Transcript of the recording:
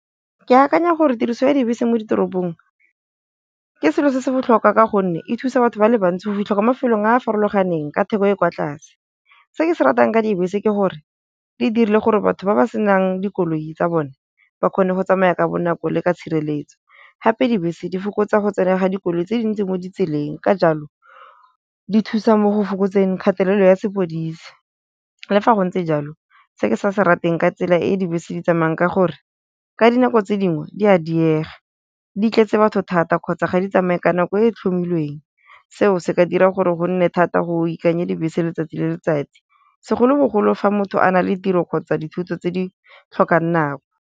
Ke akanya gore tiriso ya dibese mo ditoropong, ke selo se se botlhokwa ka gonne e thusa batho ba le bantsi go fitlha kwa mafelong a farologaneng ka theko e kwa tlase. Se ke se ratang ka dibese ke gore di dirile gore batho ba ba senang dikoloi tsa bone ba kgone go tsamaya ka bonako le ka tshireletso, hape dibese di fokotsa go tsena ga dikoloi tse dintsi mo ditseleng ka jalo di thusa mo go fokotseng kgatelelo ya sepodisi. Le fa go ntse jalo se ke sa se rateng ka tsela e e dibese di tsamayang ka gore, ka dinako tse dingwe di a diega di tletse batho thata kgotsa ga di tsamaye ka nako e tlhomilweng, seo se ka dira gore go nne thata go ikanye dibese letsatsi le letsatsi, segolobogolo fa motho a na le tiro kgotsa dithuto tse di tlhokang nako.